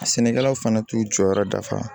Sɛnɛkɛlaw fana t'u jɔyɔrɔ dafa